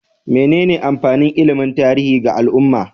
Menene amfanin ilimin tarihi ga al'umma?